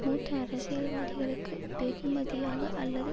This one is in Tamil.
மூத்த அரசியல்வாதிகளுக்கு வெகுமதியாக அல்லது